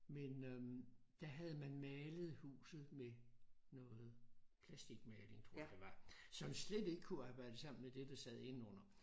Men øh der havde man malet huset med noget plasticmaling tror jeg det var som slet ikke kunne arbejde sammen med det der sad indenunder